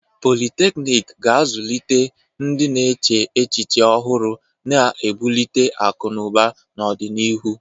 Politeknik ga-azụlite ndị na-eche echiche ọhụrụ, na-ebuli akụ na ụba n'ọdịnihu.